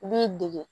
I b'i dege